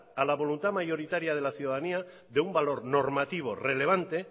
a la voluntad mayoritaria de la ciudadanía de un valor normativo relevante